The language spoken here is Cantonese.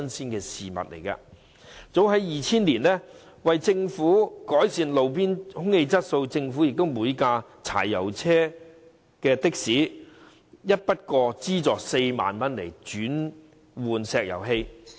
早在2000年，為了改善路邊空氣質素，政府便向柴油的士提供每輛4萬元的一筆過資助，供車主轉換至石油氣的士。